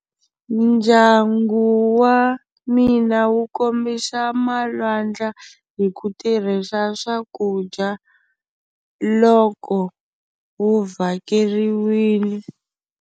Ndyangu wa mina wu kombisa malwandla hi ku tirhisa swakudya loko wu vhakeriwile.